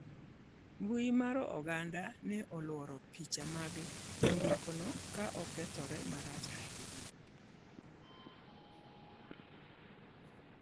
Mbui mar oganda ne oluoro pichni mag nyamburkono ka okethore maracha hinya